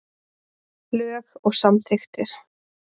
Lög og samþykktir.